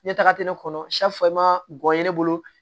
Ne taga tɛ ne kɔnɔ ma gɔyɔ ne bolo